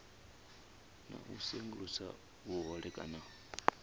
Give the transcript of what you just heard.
na u sengulusa vhuhole kana